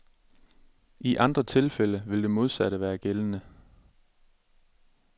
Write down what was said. I andre tilfælde vil det modsatte være gældende.